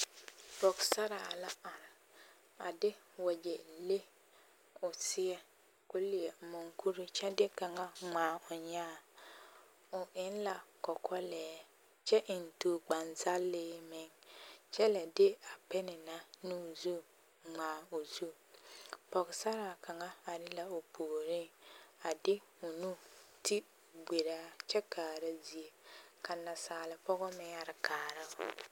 pɔgesare la are a de wagyɛ leŋ k'o leɛ mukure kyɛ de kaŋ ŋmaa o nyaa o eŋ la kɔkɔlɛɛ kyɛ eŋ tookpane zaŋle meŋ kyɛ lɛ de a bin na ŋmaa o zu pɔgesare kaŋ are la o puureŋ a de o nu ti gberaa